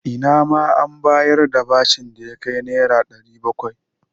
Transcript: Ina ma an bayar da bashin da ya kai Naira 700.